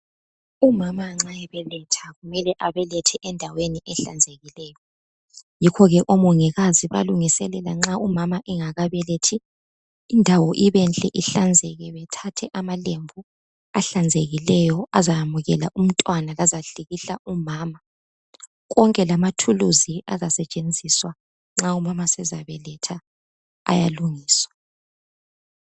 Umama nxa ebeletha kumele abelethele endaweni ehlanzekileyo. Yikhoke oMongikazi bayalungiselela nxa umama engakabelethi indawo ibenhle ihlanzeke bethathe amalembu ahlanzekileyo azamukela umntwana lazahlikihla umama. Konke lezikhali ezizasetshenziswa nxa umama sebeletha ziyalungiswa.